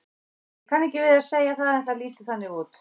Ég kann ekki við að segja það en það lítur þannig út.